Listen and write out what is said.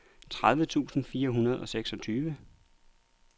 tredive tusind fire hundrede og seksogtyve